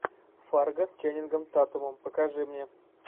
фарго с ченнингом татумом покажи мне